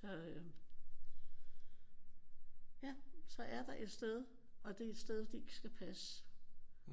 Så øh ja så er der et sted. Og det er et sted de ikke skal passe